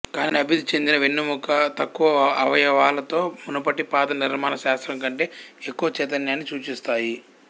కానీ అభివృద్ధి చెందిన వెన్నెముక తక్కువ అవయవాలతో మునుపటి పాదనిర్మాణ శాస్త్రం కంటే ఎక్కువ చైతన్యాన్ని సూచిస్తాయి